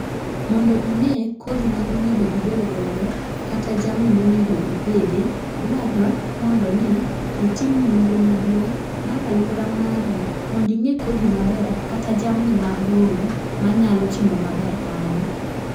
Mondo ing'e kodhi ma onego ibed godo kata jamni ma onego ipidhi, dwarre mondo ni itim nonro maduong' mar aluora mari mondi ng'e kodhi maber kata jamni malong'o manyalo timo maber kanyo.